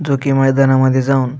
जो की मैदाना मध्ये जाऊन--